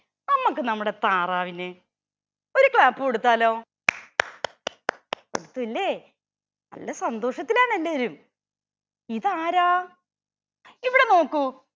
നമ്മക്ക് നമ്മുടെ താറാവിന് ഒരു clap കൊടുത്താലോ കൊടുത്തുലേ നല്ല സന്തോഷത്തിലാണെല്ലാരും ഇതാരാ ഇവിടെ നോക്കൂ